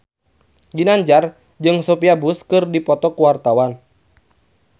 Ginanjar jeung Sophia Bush keur dipoto ku wartawan